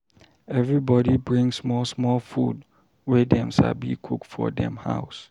Everybody bring small small food wey dem sabi cook for dem house.